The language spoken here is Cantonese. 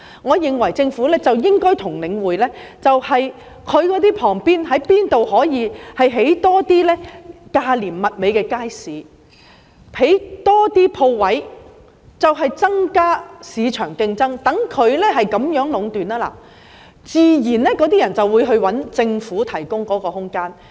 我認為政府應該看看可在領展哪些商場旁邊多興建一些價廉物美的街市，多興建鋪位，以增加市場競爭，讓它無法壟斷，這樣租戶自然會轉到政府提供的空間。